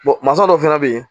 mansa dɔw fana bɛ yen